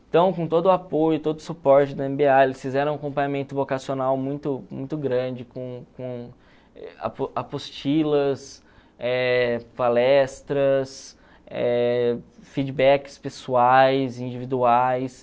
Então, com todo o apoio, todo o suporte da eme be a, eles fizeram um acompanhamento vocacional muito muito grande, com com apo apostilas, eh palestras, eh feedbacks pessoais, individuais.